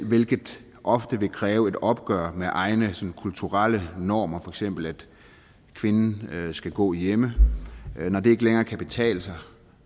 hvilket ofte vil kræve et opgør med egne kulturelle normer for eksempel at kvinden skal gå hjemme når det ikke længere kan betale sig